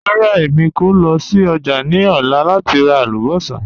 Rárá, èmi kò lọ sí ọ́jà̀ ni ọ̀lá láti rà àlùbọ́ṣà.